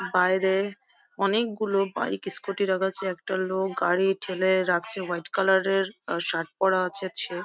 বাইরে অনেকগুলো bike scooty রাখা আছে একটা লোক গাড়ি ঠেলে রাখছে হোয়াইট কালার এর শার্ট পরা আছে সে।